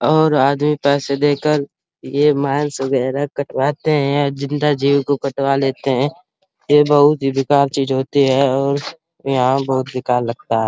और आधे पैसे दे कर ये मांस वगैरह कटवाते है। जिन्दा जीव को कटवा लेते है। ये बहोत ही बेकार चीज होती है और यहाँ बहोत बेकार लगता है।